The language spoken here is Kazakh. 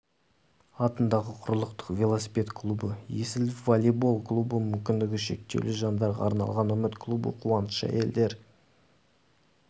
атындағы құрлықтық велосипед клубы есіл волейбол клубы мүмкіндігі шектеулі жандарға арналған үміт клубы қуаныш әйелдер